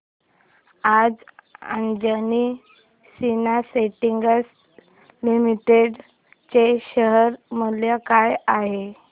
आज Anjani synthetics limited चे share मूल्य काय आहे